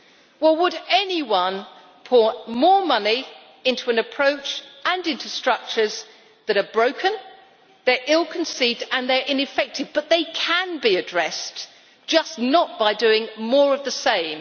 Why would anyone pour more money into an approach and into structures that are broken, ill conceived and ineffective? These can be addressed, but just not by doing more of the same